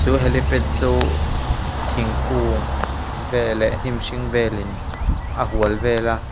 chu helipad chuh thingkung vel leh hnim hring vel in a hual vel a.